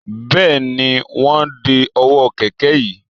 Bẹ́ẹ̀ni, wọ́n ń de ọwọ́ kẹ̀kẹ́ yín